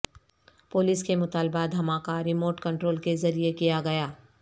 police کے مطالبہ دھماکہ ریموٹ کنٹرول کے ذریعے کیا گیا